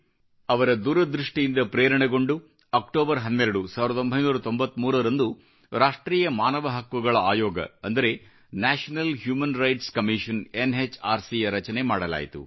ಅವರ ದೂರದೃಷ್ಟಿಯಿಂದ ಪ್ರೇರಣೆಗೊಂಡು 12 ಅಕ್ಟೋಬರ್ 1993 ರಂದು ರಾಷ್ಟ್ರೀಯ ಮಾನವ ಹಕ್ಕುಗಳ ಆಯೋಗ ಅಂದರೆ National Human Rights Commission NHRC ಯ ರಚನೆ ಮಾಡಲಾಯಿತು